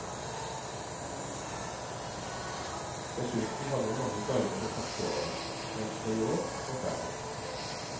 Dessuten hadde vi mange guider det første året, mens det i år var færre.